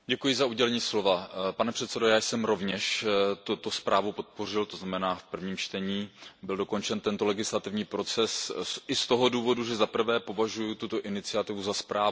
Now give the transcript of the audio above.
Pane předsedající, já jsem rovněž tuto zprávu podpořil to znamená, v prvním čtení byl dokončen tento legislativní proces i z toho důvodu, že zaprvé považuji tuto iniciativu za správnou, tuto legislativu.